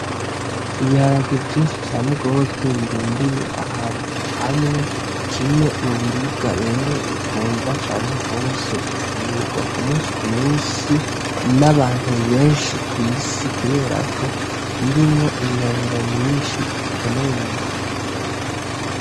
Ibiharage vyinshi cane rwose birundiye ahantu hamwe, kimwe mu biribwa rero bikundwa cane rwose gufungurwa ku musi ku musi, n'abantu benshi kw'isi kubera ko birimwo ingaburo nyishi zikenewe mu mubiri w'umuntu.